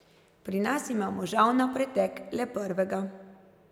Pri nas imamo žal na pretek le prvega.